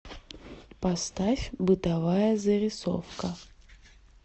поставь бытовая зарисовка